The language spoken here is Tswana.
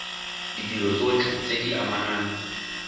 ditiro tsotlhe tse di amanang